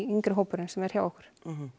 yngri hópurinn sem er hjá okkur